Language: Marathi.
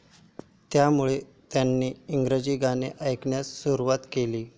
त्यामुळे त्याने इंग्रजी गाणे ऐकण्यास सुरुवात केली.